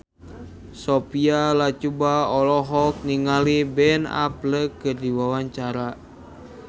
Sophia Latjuba olohok ningali Ben Affleck keur diwawancara